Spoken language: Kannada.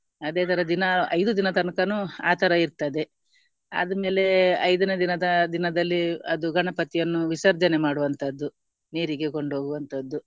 ಅದೇ ತರ ದಿನಾ ಐದು ದಿನ ತನಕನು ಆತರ ಇರ್ತದೆ, ಆದಮೇಲೆ ಐದನೇ ದಿನದ ದಿನದಲ್ಲಿ ಅದು ಗಣಪತಿಯನ್ನು ವಿಸರ್ಜನೆ ಮಾಡುವಂತದ್ದು, ನೀರಿಗೆ ಕೊಂಡು ಹೋಗುವಂತದ್ದು